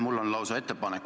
Palun!